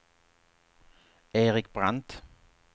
Erik Brandt